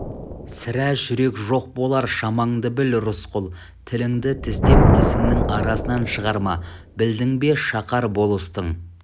сірә жүрек жоқ болар шамаңды біл рысқұл тіліңді тістеп тісіңнің арасынан шығарма білдің бе шақар болыстың